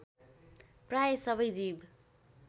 प्रायः सबै जीव